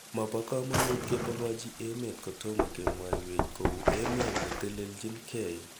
Mapo kamanut kipokchi emenhl kotomo kemwaiwech, kou emet netelelchin gei.